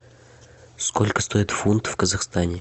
сколько стоит фунт в казахстане